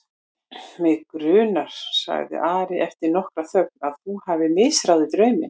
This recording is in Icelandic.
Mig grunar, sagði Ari eftir nokkra þögn,-að þú hafir misráðið drauminn.